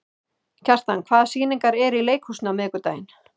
Kjartan, hvaða sýningar eru í leikhúsinu á miðvikudaginn?